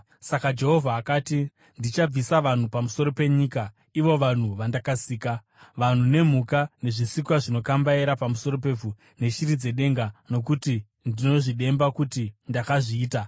Saka Jehovha akati, “Ndichabvisa vanhu pamusoro penyika ivo vanhu vandakaisa, vanhu nemhuka, nezvisikwa zvinokambaira pamusoro pevhu, neshiri dzedenga, nokuti ndinozvidemba kuti ndakazviita.”